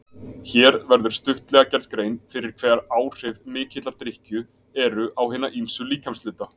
Hér verður stuttlega gerð grein fyrir hver áhrif mikillar drykkju eru á hina ýmsu líkamshluta.